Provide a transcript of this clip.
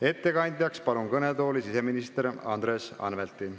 Ettekandeks palun kõnetooli siseminister Andres Anvelti.